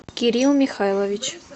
кирилл михайлович